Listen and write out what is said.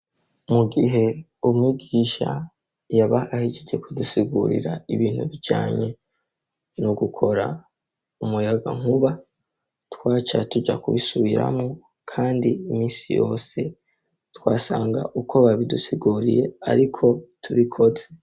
Mu gihe umwigisha yaba ahejeje kudusigurira ibintu bijanye no gukora umuyagankuba twaca tuja kubisubiramwo kandi iminsi yose twasanga uko babidusiguriye ariko tubikoze.